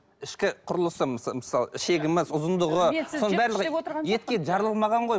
ішкі құрлысы мысалы ішегіміз ұзындығы соның барлығы етке жаралмаған ғой